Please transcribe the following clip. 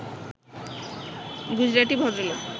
গুজরাটি ভদ্রলোক